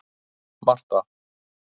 Marta